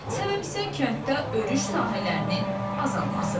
Səbəb isə kənddə örüş sahələrinin azalmasıdır.